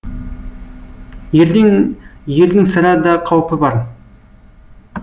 ерден ердің сірә да қаупі бар